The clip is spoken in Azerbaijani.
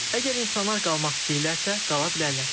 Əgər insanlar qalmaq istəyirlərsə, qala bilərlər.